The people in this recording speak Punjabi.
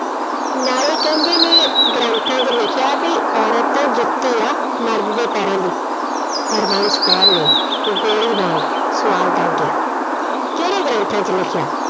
ਨਾਲੇ ਕਹਿੰਦੇ ਨੇ ਗ੍ਰੰਥਾਂ ਚ ਲਿਖਿਆ ਵੀ ਔਰਤ ਤਾਂ ਜੁੱਤੀ ਆ ਮਰਦ ਦੇ ਪੈਰਾਂ ਦੀ। ਹਰਬੰਸ ਕੌਰ ਨੇ ਗੋਲੇ ਵਾਂਗ ਸਵਾਲ ਦਾਗਿਆ, ਕਿਹੜੇ ਗ੍ਰੰਥਾਂ ਚ ਲਿਖਿਆ